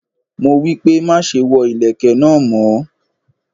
Mo wípé, má ṣe wọ ìlẹ̀kẹ̀ náà mọ́.